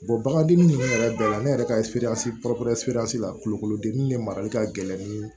bagan dimi ne yɛrɛ bɛɛ la ne yɛrɛ ka la kulukorodeli ne marali ka gɛlɛn nii